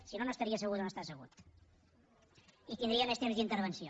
si no no estaria assegut on està assegut i tindria més temps d’intervenció